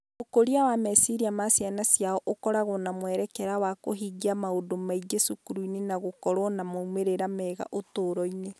Ũkũria wa meciria na ciana ciao ikoragwo na mwerekera wa kũhingia maũndũ maingĩ cukuru na gũkorũo na moimĩrĩro mega ũtũũro-inĩ.